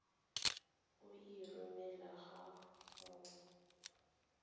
o e romele ga mmogo